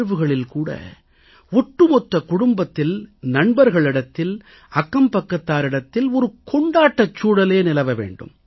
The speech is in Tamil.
தேர்வுகளில் கூட ஒட்டுமொத்த குடும்பத்தில் நண்பர்களிடத்தில் அக்கம்பக்கத்தாரிடத்தில் ஒரு கொண்டாட்டச் சூழலே நிலவ வேண்டும்